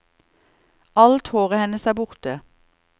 Alt håret hennes er borte.